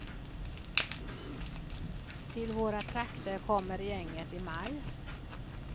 Till våra trakter kommer gänget i maj.